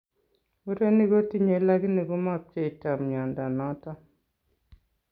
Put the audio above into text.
Murenik kotinye lakini komapcheito mnyondo noton